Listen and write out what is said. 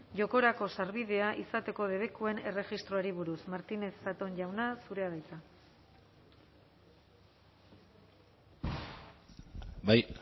jokorako sarbidea izateko debekuen erregistroari buruz martínez zatón jauna zurea da hitza bai